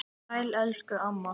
Sæl elsku amma.